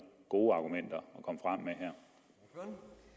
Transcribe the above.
gode argumenter at